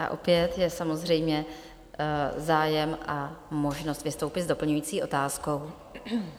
A opět je samozřejmě zájem a možnost vystoupit s doplňující otázkou.